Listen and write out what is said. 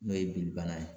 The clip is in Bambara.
N'o ye bilibana ye